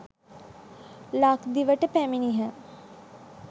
ලක්දිවට පැමිණියහ.